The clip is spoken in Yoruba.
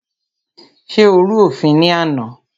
Ṣé o rú òfin ní àná?